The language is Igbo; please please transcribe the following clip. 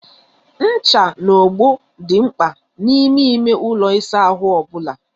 Ncha na ogbo dị mkpa n'ime ime ụlọ ịsa ahụ ọ bụla.